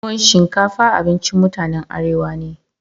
Tuwon shinkafa abincin mutanen Arewa ne.